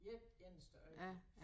Ét eneste øjeblik